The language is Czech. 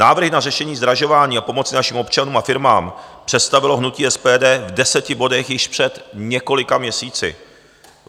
Návrhy na řešení zdražování a pomoci našim občanům a firmám představilo hnutí SPD v deseti bodech již před několika měsíci.